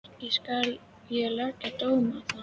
Ekki skal ég leggja dóm á það.